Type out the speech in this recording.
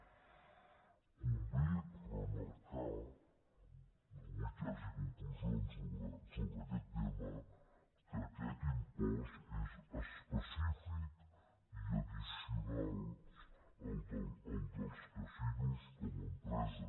convé remarcar no vull que hi hagi conclusions sobre aquest tema que aquest impost és específic i addicional al dels casinos com a empresa